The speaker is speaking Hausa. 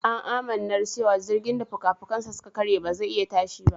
An amannar cewa jirgin da fukafukansa suka karye ba zai iya tashi ba.